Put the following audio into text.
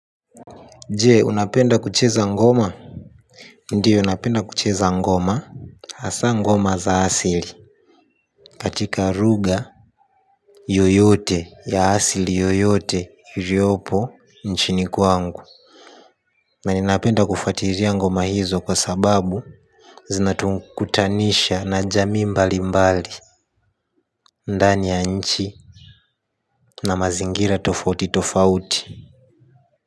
Je, unapenda kucheza ngoma? Ndiyo napenda kucheza ngoma, hasaa ngoma za asili katika lugha yoyote ya asili yoyote iliopo nchini kwangu. Na ninapenda kufuatilia ngoma hizo kwa sababu zinatukutanisha na jamii mbalimbali. Ndani ya nchi na mazingira tofauti tofauti.